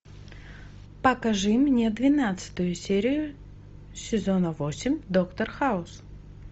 покажи мне двенадцатую серию сезона восемь доктор хаус